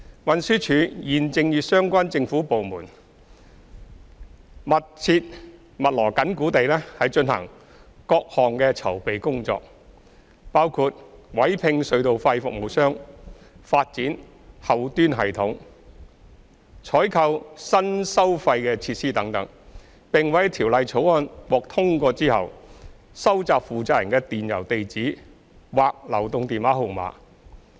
運輸署現正與相關政府部門密鑼緊鼓地進行各項籌備工作，包括委聘隧道費服務商、發展後端系統、採購新收費設施等，並會在《條例草案》獲通過後，收集負責人的電郵地址或流動電話號碼。